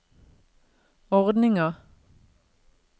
ordninga